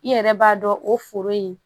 I yɛrɛ b'a dɔn o foro in